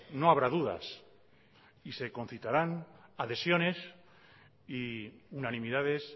no habrá dudas y se concitarán adhesiones y unanimidades